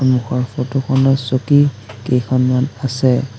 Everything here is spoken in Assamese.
সন্মুখৰ ফটোখনত চকী কেইখনমান আছে।